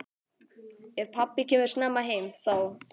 Ef pabbi kemur snemma heim þá.